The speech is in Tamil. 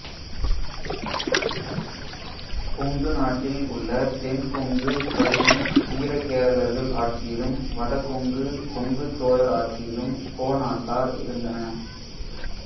கொங்கு நாட்டில் உள்ள தென் கொங்கு பகுதி வீர கேரளர்கள் ஆட்சியிலும் வடகொங்கு கொங்குச் சோழர் ஆட்சியிலும் கோநாட்டார் இருந்தன